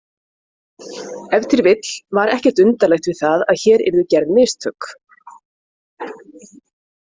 Ef til vill var ekkert undarlegt við það að hér yrðu gerð mistök.